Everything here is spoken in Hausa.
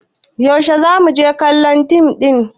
yaushe za mu je kallon dim ɗin ne